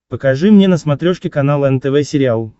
покажи мне на смотрешке канал нтв сериал